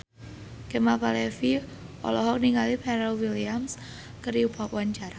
Kemal Palevi olohok ningali Pharrell Williams keur diwawancara